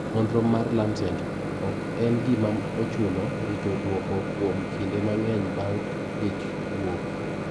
Nonro mag Lancet: Ok en gima ochuno rito duoko kuom kinde mang`eny bang` ich wuok.